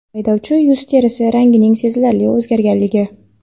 haydovchi yuz terisi rangining sezilarli o‘zgarganligi.